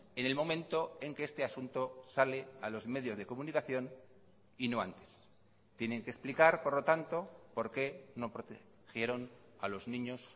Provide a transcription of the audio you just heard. en el momento en que este asunto sale a los medios de comunicación y no antes tienen que explicar por lo tanto por qué no protegieron a los niños